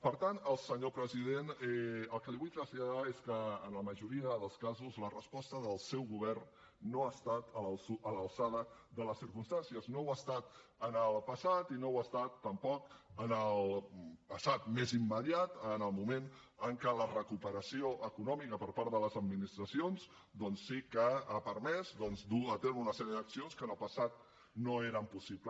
per tant senyor president el que li vull traslladar és que en la majoria dels casos la resposta del seu govern no ha estat a l’alçada de les circumstàncies no ho ha estat en el passat i no ho ha estat tampoc en el passat més immediat en el moment en què la recuperació econòmica per part de les administracions doncs sí que ha permès dur a terme una sèrie d’accions que en el passat no eren possibles